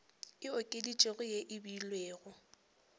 e okeditšwego ye e beilwego